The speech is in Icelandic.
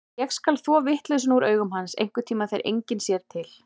Ég skal þvo vitleysuna úr augum hans, einhverntíma þegar enginn sér til.